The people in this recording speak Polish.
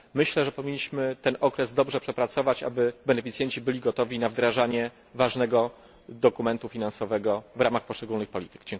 Myślę, że powinniśmy ten okres dobrze przepracować, aby beneficjenci byli gotowi na wdrażanie ważnego dokumentu finansowego w ramach poszczególnych polityk.